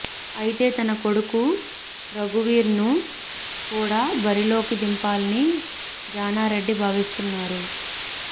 అయితే తన కొడుకు రఘువీర్ను కూడ బరిలోకి దింపాలని జానారెడ్డి భావిస్తున్నారు